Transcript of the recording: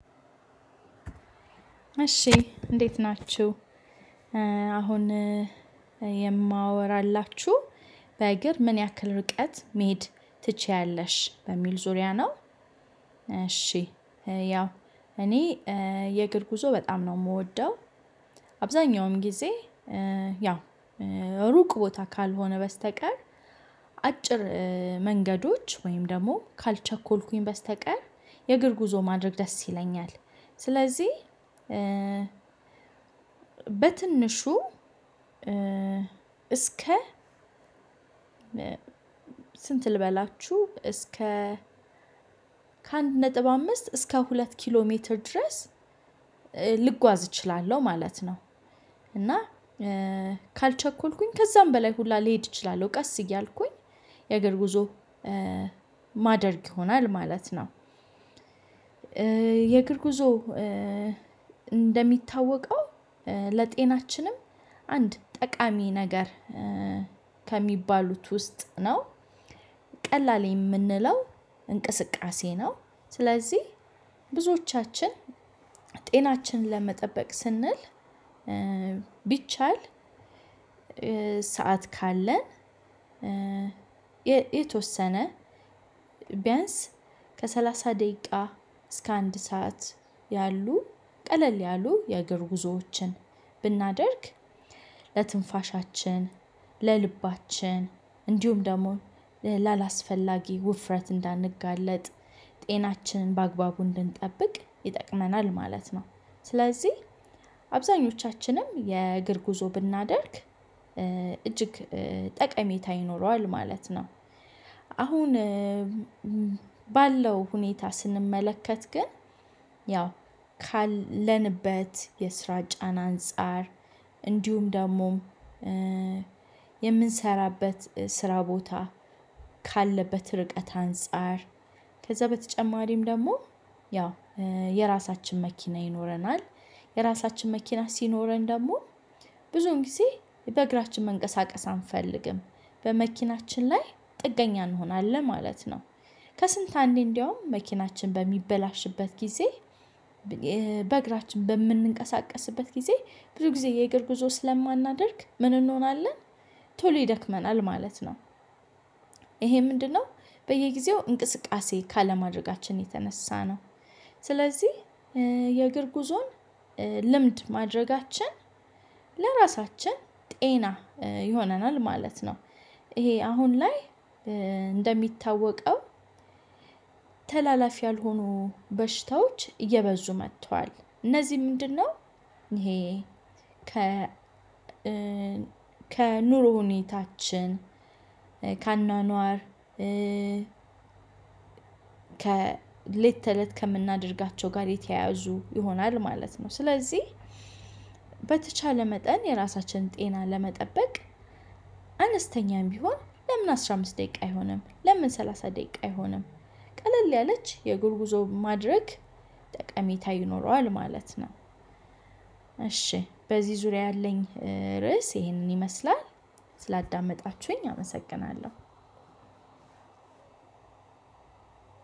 እሺ እንዴት ናችሁ? አሁን የማወራላችው በእግር ምን ያክል ርቀት መሄድ ትችያለሽ በሚል ዙርያ ነው። እሺ ያው እኔ ኤ የእግር ጉዞ በጣም ነው ምወደው። አብዛኛውም ግዜ ያው ሩቅ ቦታ ካልሆነ በስተቀር አጭር መንገዶች ወይም ደግሞ ካልቸኮልኩ በስተቀር የእግር ጉዞ ማድረግ ደስ ይለኛል። ስለዚህ በትንሹ እስከ ስንት ልበላችሁ እስከ ከአንድ ነጥብ አምስት እስከ ሁለት ኪሎ ሜትር ድረስ ልጓዝ እችላለሁ ማለት ነው። እና ካልቸኮልኩኝ ከዛም በላይ ሁላ ልሄድ እችላለሁ ቀስ እያልኩኝ የእግር ጉዞ ማደርግ ይሆናል ማለት ነው የእግር ጉዞ እንደሚታወቀው ለጤናችንም አንድ ጠቃሚ ነገር ከሚባሉት ውስጥ ነው ቀላል የምንለው እንቅስቃሴ ነው። ስለዚህ ብዙዎቻችን ጤናችንን ለመጠበቅ ስንል ቢቻል ሰዓት ካለን የተወሰነ ቢያንስ ከሰላሳ ደቂቃ እስከ አንድ ሰዓት ያሉ ቀለል ያሉ የእግር ጉዞዎችን ብናደርግ ለትንፋሻችን ለልባችን እንዲሁም ደግሞ ላላስፈላጊ ውፍረት እንዳንጋለጥ ጤናችን በአግባቡ እንድንጠብቅ ይጠቅመናል ማለት ነው ስለዚህ አብዛኞቻችንም የእግር ጉዞ ብናደርግ እጅግ ጠቀሜታ ይኖረዋል ማለት ነው። አሁን ባለው ሁኔታ ስንመለከት ግን ያው ካለንበት የስራ ጫና አንፃር እንዲሁም ደግሞ የምንሰራበት ስራ ቦታ ካለበት ርቀት አንፃር ከዛ በተጨማሪም ደግሞ ያው የራሳችን መኪና ይኖረናል የራሳችን መኪና ሲኖረን ደግሞ ብዙን ጊዜ በእግራችን መንቀሳቀስ አንፈልግም በመኪናችን ላይ ጥገኛ እንሆናለን ማለት ነው። ከስንት አንዴ እንደውም መኪናችን በሚበላሽበት ጊዜ በእግራችን በምንንቀሳቀስበት ጊዜ ብዙ ጊዜ የእግር ጉዞ ስለማናደርግ ምን እንሆናለን ቶሎ ይደክመናል ማለት ነው። ይሄ ምንድነው በየጊዜው እንቅስቃሴ ካለማድረጋችን የተነሳ ነው። ስለዚህ የእግር ጉዞን ልምድ ማድረጋችን ለራሳችን ጤና ይሆነናል ማለት ነው። ይሄ አሁን ላይ እንደሚታወቀው ተላላፊ ያልሆኑ በሽታዎች እየበዙ መጥተዋል እነዚህ ምንድነው ይሄ ከ ከኑሮ ሁኔታችን ከአኗኗር ከሌት ተለት ከምናደርጋቸው ጋር የተያያዙ ይሆናል ማለት ነው ስለዚህ በተቻለ መጠን የራሳችንን ጤና ለመጠበቅ አነስተኛም ቢሆን ለምን አስራ አምስት ደቂቃ አይሆንም ለምን ሰላሳ ደቂቃ አይሆንም ቀለል ያለች የእግር ጉዞ ማድረግ ጠቀሜታ ይኖረዋል ማለት ነው። እሺ በዚህ ዙሪያ ያለኝ ርዕስ ይሄንን ይመስላል ስላዳመጣችሁኝ አመሰግናለሁ።